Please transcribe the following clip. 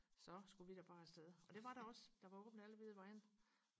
så skulle vi da bare afsted og det var der også der var åbent alle vide vegne